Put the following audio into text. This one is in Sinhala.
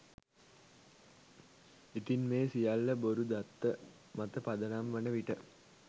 ඉතින් මේ සියල්ල බොරු දත්ත මත පදනම් වන විට?